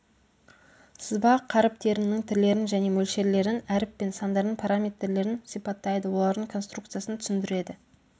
сызба қаріптерінің түрлерін және мөлшерлерін әріп пен сандардың параметрлерін сипаттайды олардың конструкциясын түсіндіреді